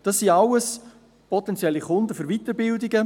Dies sind alles potenzielle Kunden für Weiterbildungen.